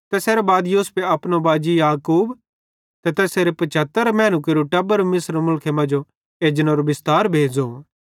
तैसेरां बाद यूसुफे अपनो बाजी याकूब ते तैसेरे 75 मैनू केरू टब्बर मिस्र मुलखां मांजो एजनेरो बिस्तार भेज़ो